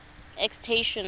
extension